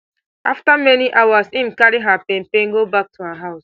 afta many hours im carry her pain pain go back to her house